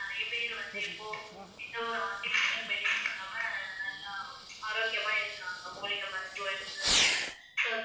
நிறைய பேர் வந்து இப்போ எந்த ஒரு artificial medicine இல்லாம நல்ல ஆரோக்கியமா இருக்காங்க மூலிகை மருத்துவம் இருக்கறதுனால so